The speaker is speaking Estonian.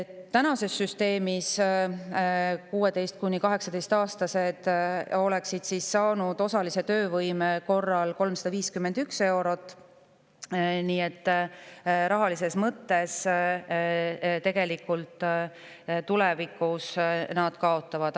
Tänase süsteemi kohaselt oleksid 16–18-aastased saanud osalise töövõime korral 351 eurot, nii et rahalises mõttes nad tulevikus tegelikult kaotavad.